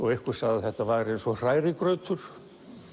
einhver sagði að þetta væri eins og hrærigrautur